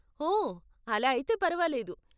ఓ, అలా అయితే పరవాలేదు.